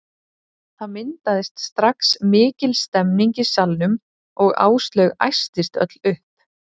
Það myndaðist strax mikil stemning í salnum og Áslaug æstist öll upp.